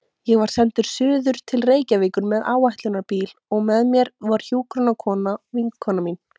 Ég var sendur suður til Reykjavíkur með áætlunarbíl og með mér var hjúkrunarkona, vinkona mín.